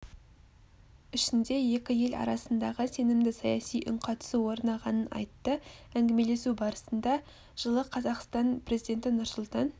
ішінде екі ел арасында сенімді саяси үнқатысу орнағанын айтты әңгімелесу барысында жылы қазақстан президенті нұрсұлтан